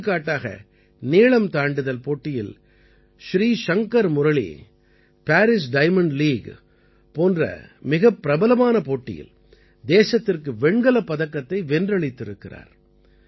எடுத்துக்காட்டாக நீளம் தாண்டுதல் போட்டியில் Sreeshankar Murali Paris Diamond League போன்ற மிகப் பிரபலமான போட்டியில் தேசத்திற்கு வெண்கலப் பதக்கத்தை வென்றளித்திருக்கிறார்